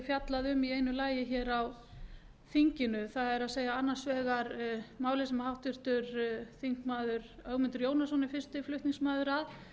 fjallað um í einu lagi hér á þinginu það er annars vegar málið sem háttvirtur þingmaður ögmundur jónasson er fyrsti flutningsmaður að